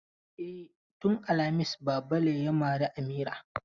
E, tun alhamis Babale ya mare Amina.